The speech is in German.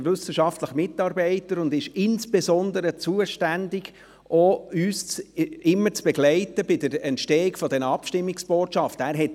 Als wissenschaftlicher Mitarbeiter ist er insbesondere dafür zuständig, uns bei der Entstehung der Abstimmungsbotschaften zu begleiten.